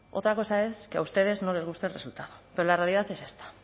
otra cosa es que a ustedes no les guste el resultado pero la realidad es esta